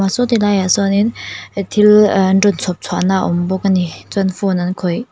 ah saw ti laiah sawnin eh thil ehh an rawn chhawpchhuahna a awm bawk a ni chuan phone an khawih.